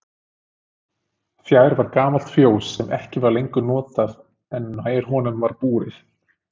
Fjær var gamalt fjós sem ekki var lengur notað en nær honum var búrið.